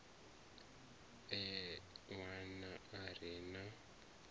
e ṋwana a re na